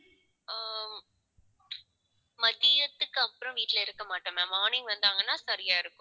மதியத்துக்கு அப்புறம் வீட்டுல இருக்க மாட்டேன் ma'am morning வந்தாங்கன்னா சரியா இருக்கும்.